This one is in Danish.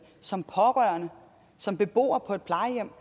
som pårørende som beboer på et plejehjem